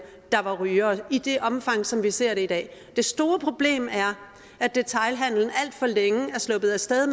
der var rygere i det omfang som vi ser det i dag det store problem er at detailhandelen alt for længe er sluppet af sted